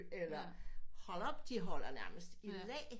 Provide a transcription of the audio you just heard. Eller hold op de holder nærmest i læ